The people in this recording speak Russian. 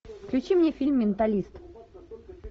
включи мне фильм менталист